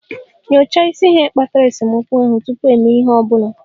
Nyochaa isi ihe kpatara esemokwu ahụ tupu ịme ihe ọ bụla